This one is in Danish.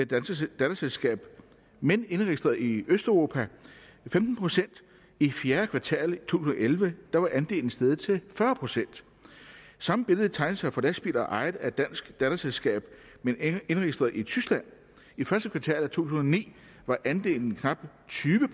danske datterselskaber men indregistreret i østeuropa femten procent i fjerde kvartal af to tusind og elleve var andelen steget til fyrre procent samme billede tegner sig for lastbiler ejet af et dansk datterselskab men indregistreret i tyskland i første kvartal af to tusind og ni var andelen knap tyve